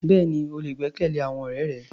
Bẹ́ẹ̀ni, o lè gbẹ́kẹ̀lé àwọn ọ̀rẹ́ rẹ.